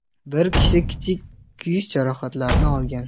Bir kishi kichik kuyish jarohatlarini olgan.